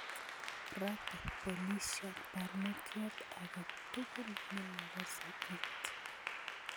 Raate boliisyoot barnotyotake tukul nemakase it